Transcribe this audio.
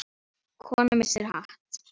Kona missir hatt.